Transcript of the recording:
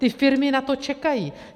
Ty firmy na to čekají.